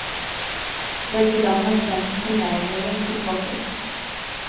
Begge land har sendt somaliere tilbake.